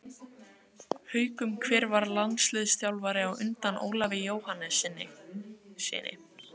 Haukum Hver var landsliðsþjálfari á undan Ólafi Jóhannessyni?